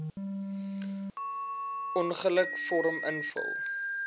ongeluk vorm invul